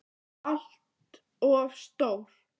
ALLT OF STÓR!